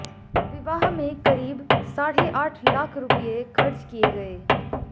विवाह में करीब साढ़े आठ लाख रुपये खर्च किए गए